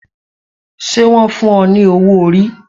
Ṣé wọn fún o ní owó orí